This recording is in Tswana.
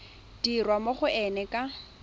dirwa mo go ena ka